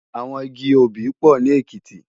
Awòn igi óbì pò ni Ekiti